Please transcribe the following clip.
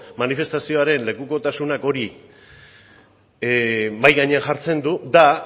manifestazioaren lekukotasunak hori mahai gainean jartzen du da